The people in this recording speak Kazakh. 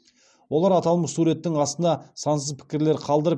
олар аталмыш суреттің астына сансыз пікірлер қалдырып